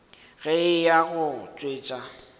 ge a eya go tšwetša